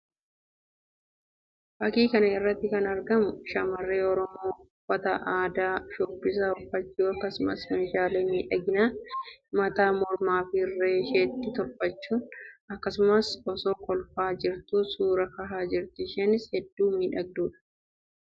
Fakkii kana irratti kan argamu shamarree Oromoo uffata aadaa sabichaa uffachuun akkasumas meeshaalee miidhaginaa mataa, mormaa fi irree isheetti tolfachuu akkasumas osoo kolfaa jirtu suuraa kahaa jirti. Isheenis hedduu miidhagduu dha.